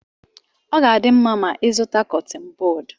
Ọ ga-adị mma ma ịzụta Kọttin bọd